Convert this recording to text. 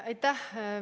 Aitäh!